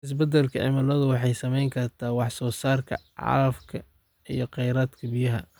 Isbeddelka cimiladu waxay saameyn kartaa wax soo saarka calafka iyo kheyraadka biyaha.